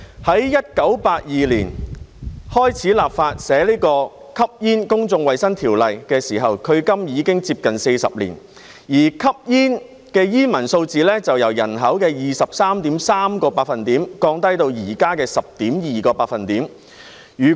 在1982年開始立法草擬《吸煙條例》的時候，距今已接近40年，而吸煙的煙民數字由人口的 23.3% 降低至現時的 10%。